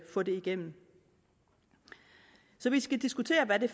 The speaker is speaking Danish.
få det igennem så vi skal diskutere hvad den